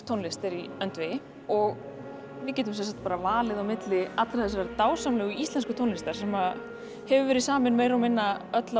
tónlist er í öndvegi og við getum valið milli allrar þessarar dásamlegu íslensku tónlistar sem hefur verið samin meira og minna öll